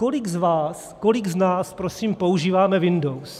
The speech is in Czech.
Kolik z vás, kolik z nás prosím používáme Windows?